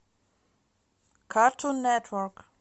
картун нетворк